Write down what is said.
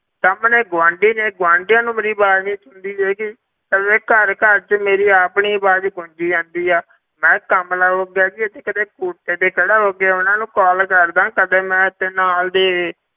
ਸਾਹਮਣੇ ਗੁਆਂਢੀ ਨੇ ਗੁਆਂਢੀਆਂ ਨੂੰ ਮੇਰੀ ਆਵਾਜ਼ ਨੀ ਸੁਣਦੀ ਹੈਗੀ, ਪਤਾ ਘਰ ਘਰ ਵਿੱਚ ਮੇਰੀ ਆਪਣੀ ਆਵਾਜ਼ ਗੂੰਜੀ ਜਾਂਦੀ ਆ, ਮੈਂ ਕਮਲਾ ਹੋ ਗਿਆ ਜੀ ਇੱਥੇ ਕਿਤੇ ਕੋਠੇ ਤੇ ਖੜਾ ਹੋ ਕੇ ਉਹਨਾਂ ਨੂੰ ਕਾਲ ਕਰਦਾਂ ਕਦੇ ਮੈਂ ਇੱਥੇ ਨਾਲ ਦੀ